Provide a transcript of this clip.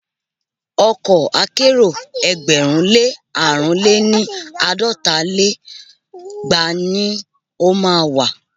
Ọkọ̀ akẹ́rò ẹgbẹ̀rún lé àrún lé ní- àádọ́ta lé igba ni o má a wà.